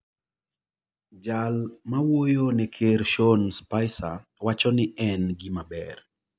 jal mawuoyone ker Sean Spicer, wacho ni ne en gimaber